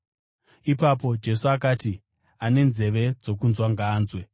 Ipapo Jesu akati, “Ane nzeve dzokunzwa, ngaanzwe.”